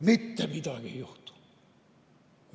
Mitte midagi ei juhtu!